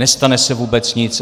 Nestane se vůbec nic.